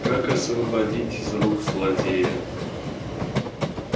как освободить из рук злодея